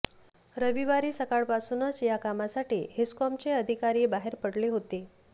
रविवारी सकाळपासूनच या कामासाठी हेस्कॉमचे अधिकारी बाहेर पडले होते